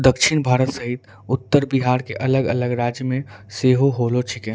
दक्षिण भारत सहित उत्तर बिहार के अलग-अलग राज्य में सेहो होलो छिके।